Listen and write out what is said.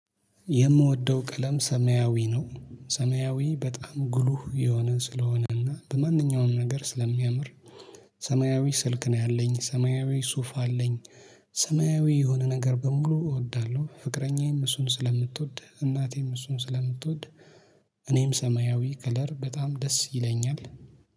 የምወደው ቀለም ሰማያዊ ነው ሰማያዊ በጣም ግሉህ የሆነ ስለሆነና በማንኛውም ነገር ስለሚያምር። ሰማያዊ ስልክ ነው ያለኝ ሰማያዊ ሱፍ አለኝ። ሰማያዊ የሆነ ነገር በሙሉ እወዳለሁ ፍቅረኛዬም እሱን ስለምትወድ እናቴም እሱን ስለምትወድ። እኔም ሰማያዊ ከለር በጣም ደስ ይለኛል